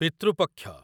ପିତୃ ପକ୍ଷ